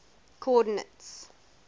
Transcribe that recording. coordinates